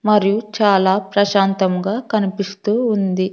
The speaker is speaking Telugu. మరియు చాలా ప్రశాంతముగా కనిపిస్తూ ఉంది.